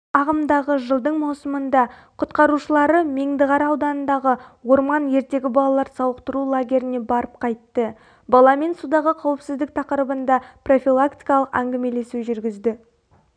ағымдағы жылдың маусымында құтқарушылары меңдіқара ауданындағы орман ертегі балалар сауықтыру лагеріне барып қайтты баламен судағы қауіпсіздік тақырыбында профилактикалық әңгімелесу жүргізді